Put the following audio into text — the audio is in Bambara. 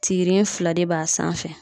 Tirin fila de b'a sanfɛ